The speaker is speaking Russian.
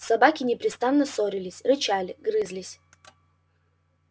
собаки непрестанно ссорились рычали грызлись